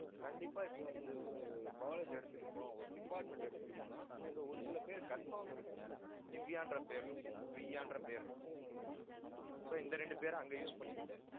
கண்டிப்பா இப்ப வந்து, ஒரு college எடுத்துக்கிட்டோம் ஒரு department எடுத்துக்கிட்டோம்னா அங்க ஒரு சில பேருக்கு confirm இருக்கும். திவ்யான்ற பேர் இருக்கும் பிரியான்ற பேர் இருக்கும் so இந்த ரெண்டு பேரை அங்க use பண்ணிக்கிட்டேன்.